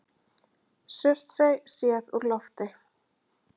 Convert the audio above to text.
Surtsey séð úr lofti.